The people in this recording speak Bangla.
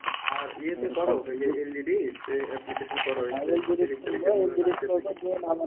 আর ইয়েতে করো ওইযে LGD তে application করো